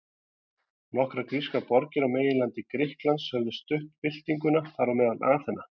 Nokkrar grískar borgir á meginlandi Grikklands höfðu stutt byltinguna, þar á meðal Aþena.